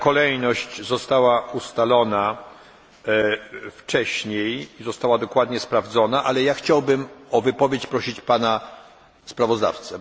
Taka kolejność została ustalona wcześniej i została dokładnie sprawdzona, ale ja chciałbym o wypowiedź prosić pana sprawozdawcę.